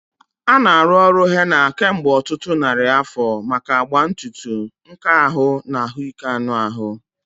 A na-arụ ọrụ Henna kemgbe ọtụtụ narị afọ maka agba ntutu, nka ahụ, na ahụike anụ ahụ.